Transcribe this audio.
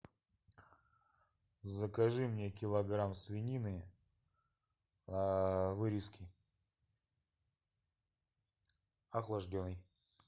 закажи мне килограмм свинины вырезки охлажденной